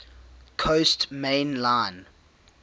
coast main line